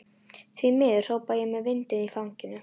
Því miður, hrópa ég með vindinn í fangið.